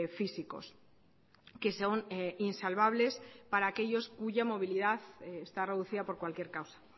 físicos que son insalvables para aquellos cuya movilidad está reducida por cualquier causa